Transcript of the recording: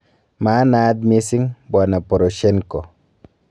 Maanaat mising' Bw Poroshenko.